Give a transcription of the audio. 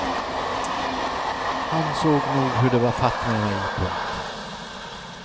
Han såg nog hur det var fatt med mig. punkt